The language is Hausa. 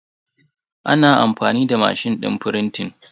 Ana amfani da mashin din frintin